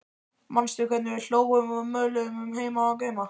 Manstu hvernig við hlógum og möluðum um heima og geima?